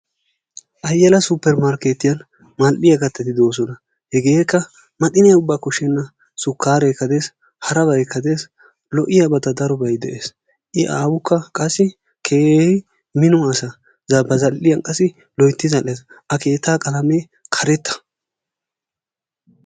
Ayala supermarkeetiyan mal'iya kaytati de'oosona. hegeekka maxxiniya uba koshenna sukaareekka des, harabaykka des lo'iyabati darobay des i aawukka qassi keehi mino asa ba zal'iyan qassi loytti zal'ees, a keetta qalamee karetta.